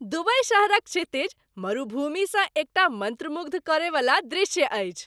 Dubai शहरक क्षितिज मरुभूमिसँ एकटा मन्त्रमुग्ध करयवला दृश्य अछि।